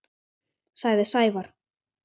sagði Sævar.